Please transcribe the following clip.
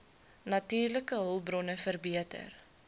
natuurlike hulpbronne verbeter